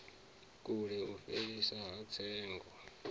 kule u fheliswa ha tsengo